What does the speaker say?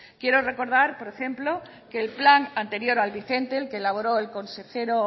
quiero recordar por ejemplo que el plan anterior al vigente el que elaboró el consejero